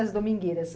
As domingueiras.